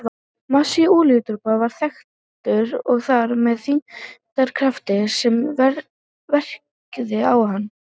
Massi olíudropans var þekktur og þar með þyngdarkrafturinn sem verkaði á hann.